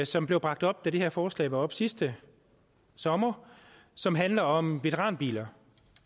som blev bragt op da det her forslag var oppe sidste sommer og som handler om veteranbiler